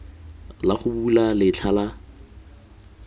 la go bula letlha la